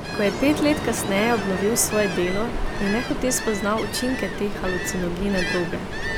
Ko je pet let kasneje obnovil svoje delo, je nehote spoznal učinke te halucinogene droge.